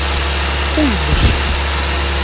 куйбышев